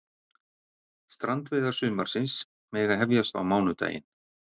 Strandveiðar sumarsins mega hefjast á mánudaginn